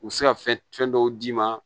U bɛ se ka fɛn dɔw d'i ma